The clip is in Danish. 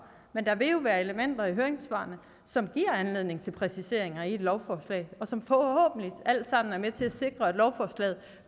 men der vil jo være elementer i høringssvarene som giver anledning til præciseringer i et lovforslag og som forhåbentlig alt sammen er med til at sikre at lovforslaget